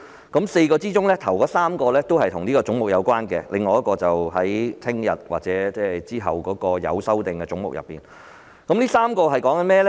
在4個範疇中，首3個與此總目有關，至於另一個範疇，我會留待明天或之後辯論有修正案的總目時才談論。